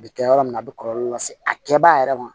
A bɛ kɛ yɔrɔ min na a bɛ kɔlɔlɔ lase a kɛbaga yɛrɛ ma